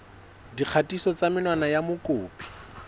dikgatiso tsa menwana ya mokopi